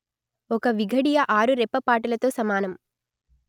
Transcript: ఒక విఘడియ ఆరు రెప్పపాటులతో సమానం